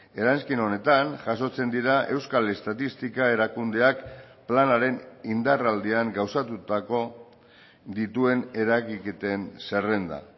eranskin honetan jasotzen dira euskal estatistika erakundeak planaren indarraldian gauzatutako dituen eragiketen zerrenda